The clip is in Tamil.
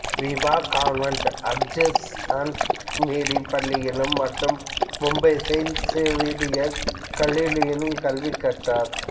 Vibha convent of Jesus and Mary பள்ளியிலும் மற்றும் மும்பை செயின்ட் சேவியர்ஸ் கல்லூரியிலும் கல்வி கற்றார்